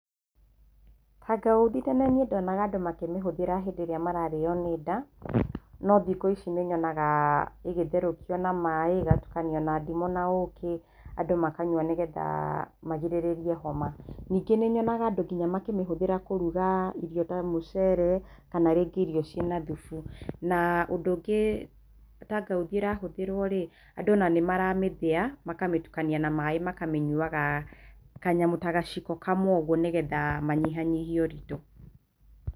Kangauthi tene niĩ ndonaga andũ makĩmĩhũthĩra hĩndĩ ĩrĩa mararĩo nĩ nda, no thikũ ici nĩnyonaga ĩgĩtherũkio na maaĩ, ĩgatukanio na ndimũ na ũkĩ, andũ makanyua nĩgetha magirĩrĩrie homa. Ningĩ nĩnyonaga andũ nginya makĩmĩhũthĩra kũruga irio ta mũcere, kana rĩngĩ irio ciĩna thubu. Na ũndũ ũngĩ kangauthi ĩrahũthĩrwo rĩ, andũ ona nĩ maramĩthĩa, makamĩtukania na maaĩ makamĩnyuaga kanyamũ ta gaciko kamwe ũguo nĩgetha manyihanyihie ũritũ.